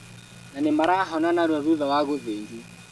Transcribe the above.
Na nĩmarahona narua thutha wa gũthĩnjwo